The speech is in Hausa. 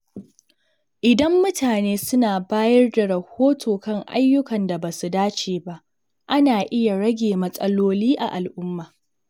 Idan mutane suna bayar da rahoto kan ayyukan da ba su dace ba, ana iya rage matsaloli a al’umma.